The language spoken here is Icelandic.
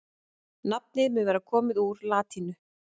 nafnið mun vera komið úr latínu